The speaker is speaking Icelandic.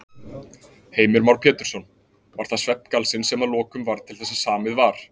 Heimir Már Pétursson: Var það svefngalsinn sem að lokum varð til þess að samið var?